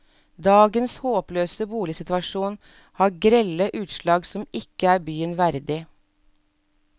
Dagens håpløse boligsituasjon har grelle utslag som ikke er byen verdig.